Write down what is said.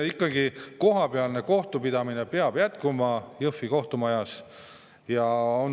Ikkagi kohapealne kohtupidamine peab jätkuma Jõhvi kohtumajas.